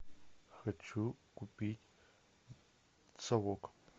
хочу купить совок